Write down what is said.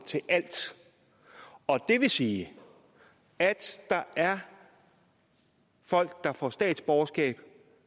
til alt det vil sige at der er folk der får statsborgerskab